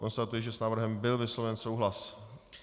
Konstatuji, že s návrhem byl vysloven souhlas.